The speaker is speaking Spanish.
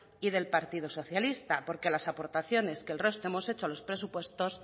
y del partido socialista porque las aportaciones que el resto hemos hecho a los presupuestos